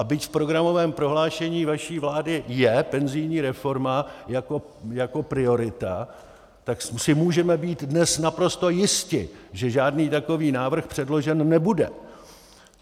A byť v programovém prohlášení vaší vlády je penzijní reforma jako priorita, tak si můžeme být dnes naprosto jisti, že žádný takový návrh předložen nebude.